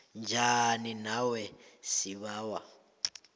njani nawe sibawa